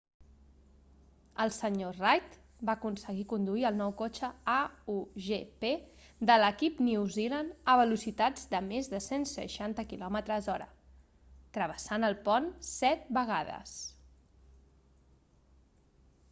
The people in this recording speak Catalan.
el sr reid va aconseguir conduir el nou cotxe a1gp de l'equip new zealand a velocitats de més de 160 km/h travessant el pont set vegades